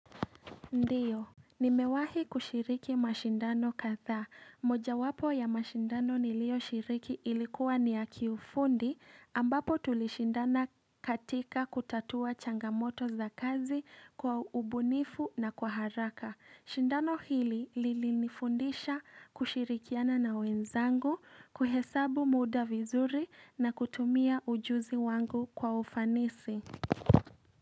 Ndiyo, nimewahi kushiriki mashindano kadha, moja wapo ya mashindano nilio shiriki ilikuwa ni ya kiufundi ambapo tulishindana katika kutatua changamoto za kazi kwa ubunifu na kwa haraka Shindano hili lilinifundisha kushirikiana na wenzangu, kuhesabu muda vizuri na kutumia ujuzi wangu kwa ufanisi.